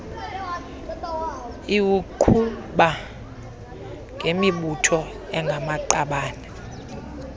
iwuqhuba ngemibutho engamaqabane